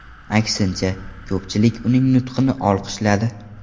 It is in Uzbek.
Aksincha, ko‘pchilik uning nutqini olqishladi.